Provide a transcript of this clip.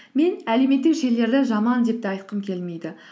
мен әлеуметтік желілерді жаман деп те айтқым келмейді